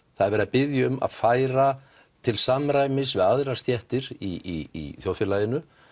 það er verið að biðja um að færa til samræmis við aðrar stéttir í þjóðfélaginu